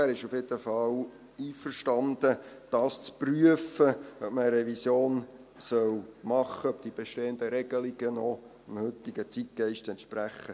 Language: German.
Er ist auf jeden Fall einverstanden zu prüfen, ob man eine Revision machen soll und ob die bestehenden Regelungen noch dem heutigen Zeitgeist entsprechen.